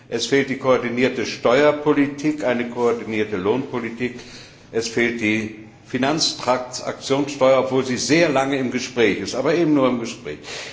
Es fehlt eine koordinierte Steuerpolitik, es fehlt eine koordinierte Lohnpolitik, es fehlt die Finanztransaktionssteuer, obwohl sie schon sehr lange im Gespräch ist, aber eben nur im Gespräch.